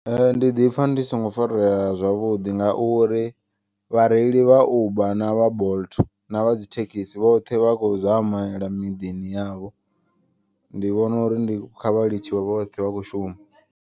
Ndi ḓipfa ndi songo farea zwavhuḓi ngauri vhareili vha uber na vha bolt na vha dzi thekhisi. Vhoṱhe vha khou zamela miḓini yavho ndi vhona uri ndi kha vha litshiwe vhoṱhe vha kho shuma.